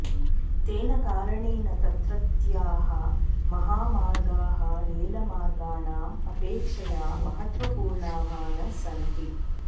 तेन कारणेन तत्रत्याः महामार्गाः रेलमार्गाणाम् अपेक्षया महत्वपूर्णाः न सन्ति